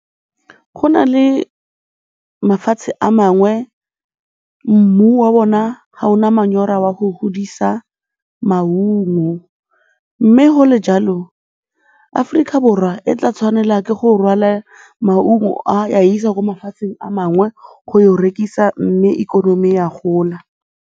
Go na le mafatshe a mangwe mmu wa ona ga o na manyora wa go godisa maungo mme go le go le jalo, Aforika Borwa e tla tshwanela ke go rwala maungo a ya a isa ko mafatsheng a mangwe go rekisa mme ikonomi ya gola.